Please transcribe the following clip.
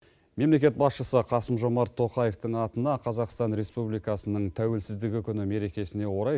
мемлекет басшысы қасым жомарт тоқаевтың атына қазақстан республикасының тәуелсіздігі күні мерекесіне орай